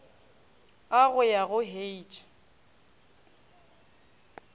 a go ya go h